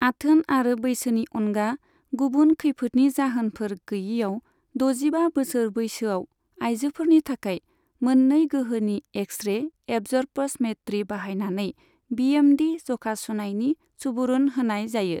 आथोन आरो बैसोनि अनगा गुबुन खैफोदनि जाहोनफोर गैयैआव, दजिबा बोसोर बैसोआव आइजोफोरनि थाखाय मोननै गोहोनि एक्स रे एबजर्पशमेट्रि बाहायनानै बीएमडी जखा सुनायनि सुबुरुन होनाय जायो।